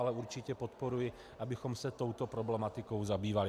Ale určitě podporuji, abychom se touto problematikou zabývali.